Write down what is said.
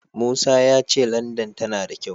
Musa ya ce Landan tana da kyau.